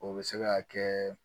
O bɛ se ka kɛ